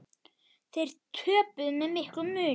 Þeir töpuðu með miklum mun.